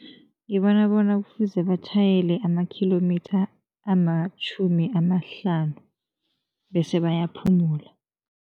Ngibona bona kufuze batjhayele amakhilomitha amatjhumi amahlanu bese bayaphumula.